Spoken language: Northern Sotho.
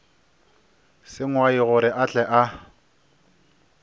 sengwai gore a tle a